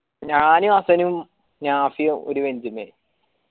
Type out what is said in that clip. ഞാനും ഹസ്സനും നാഫിയും ഓട് bench മേൽ